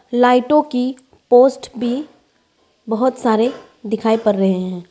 लाइटों की पोस्ट भी बहुत सारे दिखाई पड़ रहे हैं।